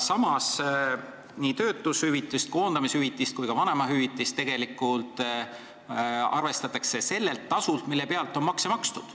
Samas arvestatakse nii töötushüvitist, koondamishüvitist kui ka vanemahüvitist sellelt tasult, mille pealt on makse makstud.